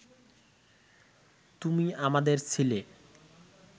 তুমি আমাদের ছিলে